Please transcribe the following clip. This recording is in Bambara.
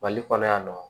Mali kɔnɔ yan nɔ